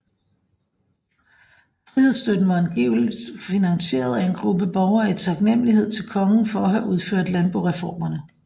Frihedsstøtten var angiveligt finansieret af en gruppe borgere i taknemmelighed til kongen for at have udført landboreformerne